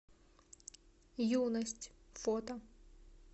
юность фото